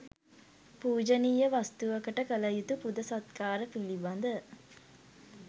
පූජනීය වස්තුවකට කළ යුතු පුද සත්කාර පිළිබඳ